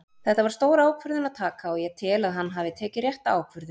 Þetta var stór ákvörðun að taka og ég tel að hann hafi tekið rétta ákvörðun.